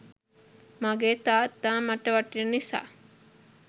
මගේ තාත්තා මට වටින නිසා.